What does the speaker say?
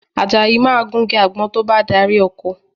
Àjàyí máa gun igi àgbọn tí ó bá dárí oko